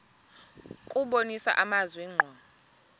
kubonisa amazwi ngqo